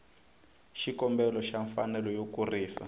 xikombelo xa mfanelo yo kurisa